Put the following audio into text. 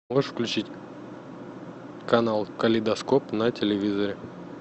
можешь включить канал калейдоскоп на телевизоре